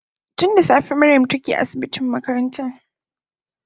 Tun da safe Mariam take asibitin makarantan